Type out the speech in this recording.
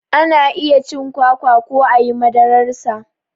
Ana iya cin kwakwa ko ayi madarar sa